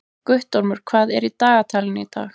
Guttormur, hvað er í dagatalinu í dag?